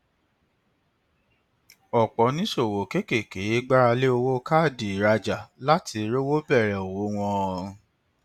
ọpọ oníṣòwò kéékèèké gbára lé owó káàdì ìrajà láti rówó bẹrẹ òwò wọn